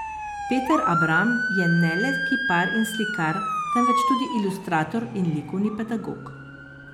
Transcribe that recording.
Peter Abram je ne le kipar in slikar, temveč tudi ilustrator in likovni pedagog.